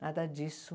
Nada disso.